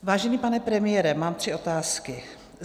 Vážený pane premiére, mám tři otázky.